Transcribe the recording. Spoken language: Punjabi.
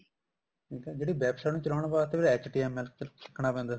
ਠੀਕ ਆ ਜਿਹੜੀ website ਨੂੰ ਚਲਾਉਣ ਵਾਸਤੇ HTML ਚੱਕਣਾ ਪੈਂਦਾ